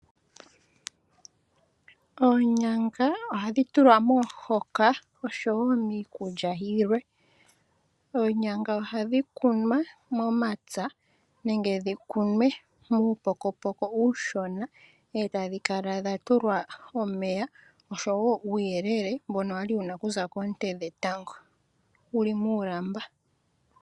Oonyanga ohadhi tulwa momuhoka nosho wo miikulya yilwe. Oonyanga ohadhi kunwa momapya nenge dhi kunwe muupokopoko uushona e tadhi kala dha tulwa omeya nosho wo uuyelele mbono wa li ku za koonte dhetango wu li muulamba.